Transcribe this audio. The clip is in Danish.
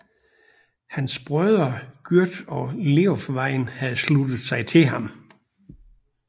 Hans brødre Gyrth og Leofwine havde sluttet sig til ham